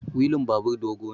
wilin babur dogo ne